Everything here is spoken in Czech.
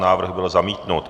Návrh byl zamítnut.